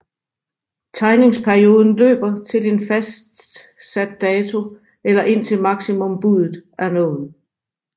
Tegningsperioden løber til en fastsat dato eller indtil maksimumbuddet er nået